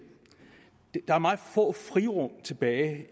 der er meget få frirum tilbage